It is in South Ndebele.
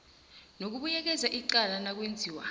nokubuyekeza icala nakwenziwa